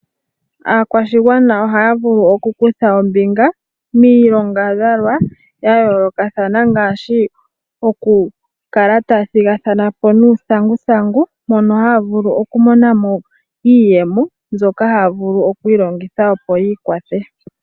Aakwashigwana ohaya vulu okukutha ombinga miilongadhalwa ya yoolokathana okukala tala thigathana po uuthanguthangu, mono haya vulu okumona mo iiyemo. Mbyoha haya vulu okulongitha opo ya ikwathe.